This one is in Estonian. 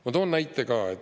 Ma toon näite ka.